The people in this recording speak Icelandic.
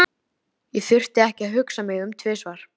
Ég þurfti ekki að hugsa mig um tvisvar.